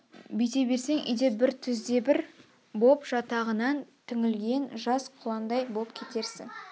бүйте берсең үй де бір түз де бір боп жатағынан түңілген жас құландай боп кетерсің